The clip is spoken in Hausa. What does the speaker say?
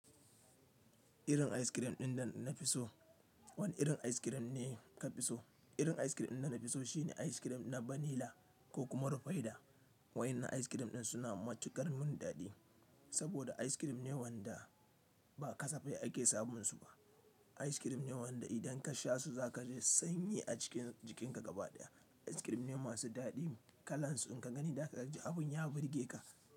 Irin ice cream ɗin da na fi so. Wane irin ice cream ne ka fi so? Irin ice cream ɗin da na fi so shine ice cream na Vanilla ko kuma Rufaidah. Waɗannan ice cream ɗin suna matukar mun daɗi saboda ice cream ne waɗanda ba kasafai ake samun su ba. Ice cream ne waɗanda idan ka sha su za ka ji sanyi a jikin ka gaba ɗaya. Ice cream ne masu daɗi kalansu in ka gani za ka ji abun ya burge ka.